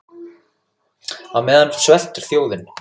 Á meðan sveltur þjóðin.